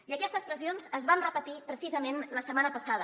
i aquestes pressions es van repetir precisament la setmana passada